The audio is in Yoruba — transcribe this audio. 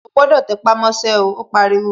O gbọ́dọ̀ tẹpámọ́ṣẹ́, ó pariwo